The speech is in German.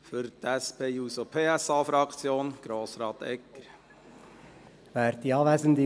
Für die SP-JUSO-PSA-Fraktion hat Grossrat Egger das Wort.